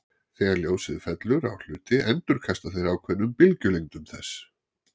Þegar ljósið fellur á hluti endurkasta þeir ákveðnum bylgjulengdum þess.